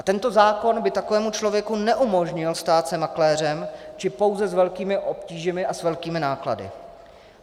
A tento zákon by takovému člověku neumožnil stát se makléřem, či pouze s velkými obtížemi a s velkými náklady.